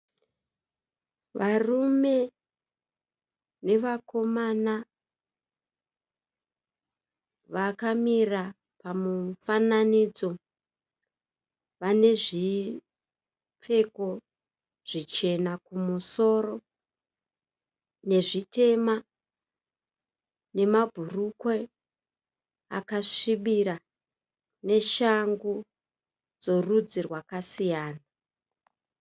Varume nevakomana vakamira pamufananidzo vanezvipfeko zvichena kumusoro nezvitema, nemabhurukwe akasvibira neshangu dzorudzi rwakasiyana.